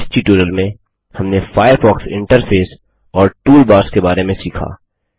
इस ट्यूटोरियल में हमने फ़ायरफ़ॉक्स इंटरफेस और टूलबार्स के बारे में सीखा